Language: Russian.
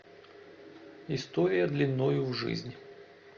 история длиною в жизнь